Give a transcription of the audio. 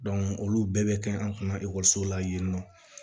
olu bɛɛ bɛ kɛ an kunna ekɔliso la yen nɔ